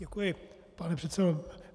Děkuji, pane předsedo.